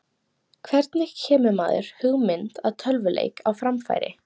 hvernig kemur maður hugmynd að tölvuleik á framfæri